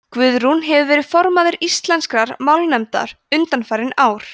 guðrún hefur verið formaður íslenskrar málnefndar undanfarin ár